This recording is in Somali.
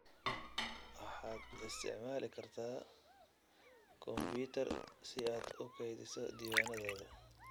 Waxaad isticmaali kartaa kombuyuutar si aad u kaydiso diiwaannadaada.